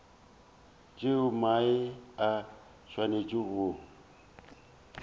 tšeo mae a swanetšego go